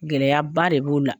Gɛlɛyaba de b'o la.